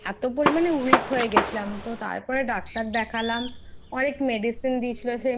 এতো পরিমানে Weak হয়ে গেছিলাম তো তারপর Doctor দেখলাম অনেক Medicine দিয়েছিলো।